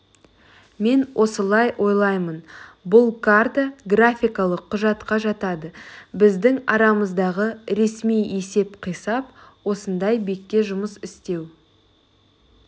мен осылай ойлаймын бұл карта графикалық құжатқа жатады біздің арамыздағы ресми есеп-қисап осындай бекке жұмыс істеу